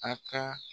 A ka